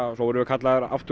svo vorum við kallaðir út aftur